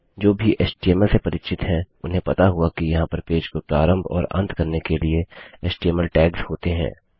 जो भी एचटीएमएल से परिचित हैं उन्हें पता होगा कि यहाँ पर पेज को प्रारंभ और अंत करने के लिए एचटीएमएल टैग्स होते हैं